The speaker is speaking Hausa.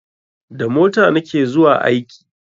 Da mota na ke zuwa aiki